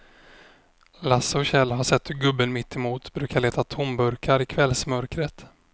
Lasse och Kjell har sett hur gubben mittemot brukar leta tomburkar i kvällsmörkret.